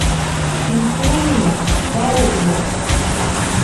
симфония здоровья